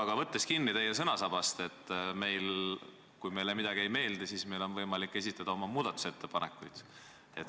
Aga võtan teil sõnasabast kinni: te ütlesite, et kui meile midagi ei meeldi, siis meil on võimalik esitada oma muudatusettepanekud.